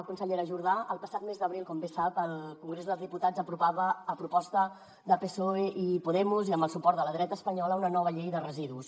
consellera jordà el passat mes d’abril com bé sap el congrés dels diputats aprovava a proposta de psoe i podemos i amb el suport de la dreta espanyola una nova llei de residus